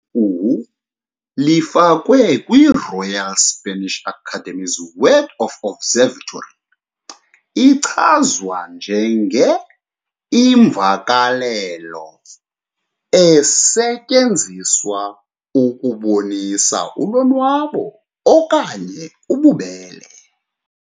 Igama elithi "uwu" lifakwe kwiRoyal Spanish Academy's word observatory, ichazwe njenge "imvakalelo esetyenziswa ukubonisa ulonwabo okanye ububele".